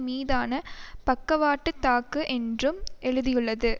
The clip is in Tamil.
மீதான பக்கவாட்டுத் தாக்கு என்றும் எழுதியுள்ளது